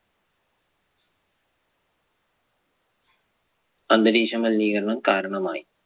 അന്തരീക്ഷ മലിനീകരണം കാരണമായി.